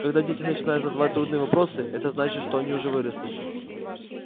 когда дети начинают задавать трудные вопросы это значит что они уже выросли